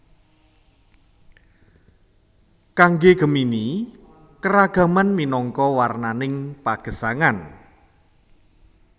Kangge Gemini keragaman minangka warnaning pagesangan